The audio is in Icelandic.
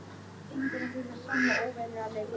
Gengur að því með sama ósveigjanleika.